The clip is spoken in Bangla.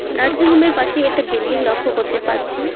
নার্সিংহোমের পাশেই একটা বিল্ডিং লক্ষ্য করতে পারছি।